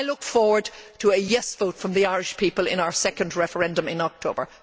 I look forward to a yes' vote from the Irish people in our second referendum in October.